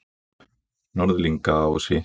Norðlingaási